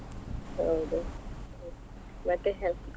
ಹೌದು ಮತ್ತೆ?